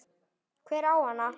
Hver á hana?